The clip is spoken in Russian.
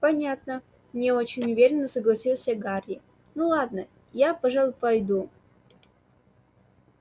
понятно не очень уверенно согласился гарри ну ладно я пожалуй пойду